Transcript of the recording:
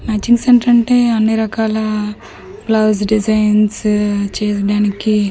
Matching centre అంటే అన్నిరకాల blouse designs చేసడానికి .]